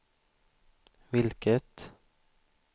vilket